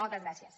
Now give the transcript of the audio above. moltes gràcies